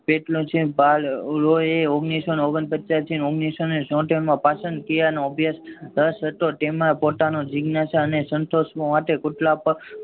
કેટલો છે ઓગણીસો ને ઓગણપચાસ માં થી ઓગણીસો ને છોતેરમાં પ્રસન્ન કર્યા નો અભ્યાસ રસ હતો તેમાં પોતાનો જિજ્ઞાસા અને સંતોષ હોવાથી